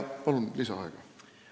Palun lisaaega!